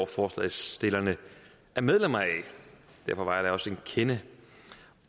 forslagsstillerne er medlem af derfor var jeg da også en kende